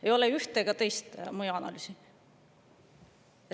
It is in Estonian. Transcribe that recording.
Ei ole ühte ega teist mõjuanalüüsi.